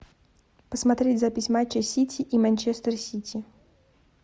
посмотреть запись матча сити и манчестер сити